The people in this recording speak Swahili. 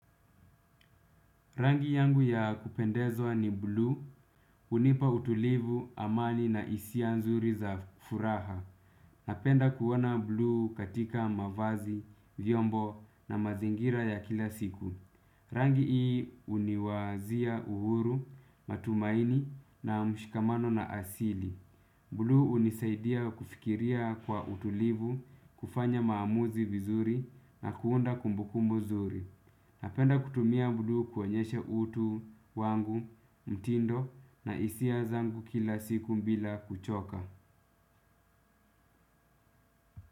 Rangi yangu ya kupendezwa ni buluu, hunipa utulivu, amani na hisia nzuri za furaha. Napenda kuona buluu katika mavazi, vyombo na mazingira ya kila siku. Rangi hii huniwazia uhuru, matumaini na mshikamano na asili. Buluu hunisaidia kufikiria kwa utulivu, kufanya maamuzi vizuri na kuunda kumbukumbu zuri. Napenda kutumia buluu kuonyesha utu wangu, mtindo na hisia zangu kila siku bila kuchoka.